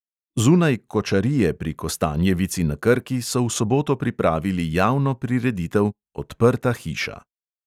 Zunaj kočarije pri kostanjevici na krki so v soboto pripravili javno prireditev odprta hiša.